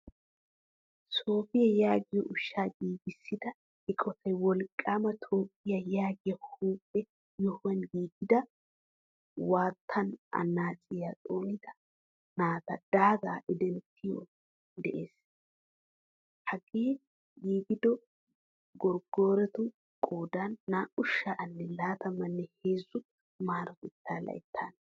Sofi yaagiyo ushsha giigisida eqotay wolqqama toophphiyaa yaagiya huuphphee yohuwaan giigida wottan annaciyaa xoonida naata daaga idinttidoge de'ees. Hagee giigidoy gorgorotu qoodan naa'u sha'anne latamane heezzu marotetta layttan.